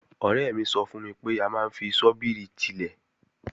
Ọ̀rẹ́ mi sọ fún mi pé a máa ń fi ṣọ́bìrì tilẹ̀